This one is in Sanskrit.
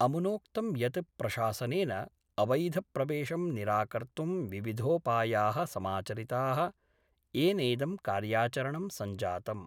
अमुनोक्तं यत् प्रशासनेन अवैधप्रवेशं निराकर्तुं विविधोपाया: समाचरिता: येनेदं कार्याचरणं सञ्जातम्।